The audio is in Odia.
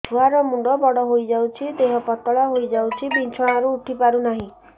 ଛୁଆ ର ମୁଣ୍ଡ ବଡ ହୋଇଯାଉଛି ଦେହ ପତଳା ହୋଇଯାଉଛି ବିଛଣାରୁ ଉଠି ପାରୁନାହିଁ